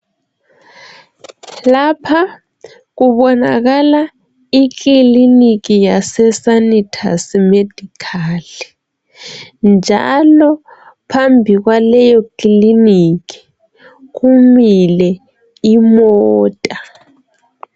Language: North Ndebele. Lapha kubonakala ikiliniki yaseSanitus Medical njalo phambi kwaleyo kiliniki kumile imota.